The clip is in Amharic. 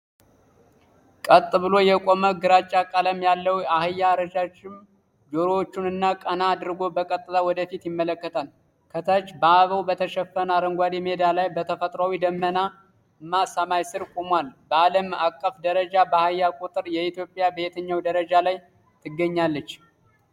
ቀጥ ብሎ የቆመ ግራጫ ቀለም ያለው አህያ ረዣዥም ጆሮዎቹን ቀና አድርጎ በቀጥታ ወደ ፊት ይመለከታል። ከታች በአበባ በተሸፈነ አረንጓዴ ሜዳ ላይ በተፈጥሯዊ ደመናማ ሰማይ ስር ቆሟል። በዓለም አቀፍ ደረጃ በአህያ ቁጥር ኢትዮጵያ በየትኛው ደረጃ ላይ ትገኛለች?